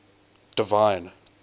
divine